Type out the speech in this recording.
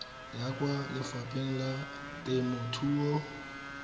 ya kwa lefapheng la temothuo